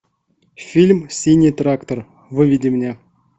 фильм синий трактор выведи мне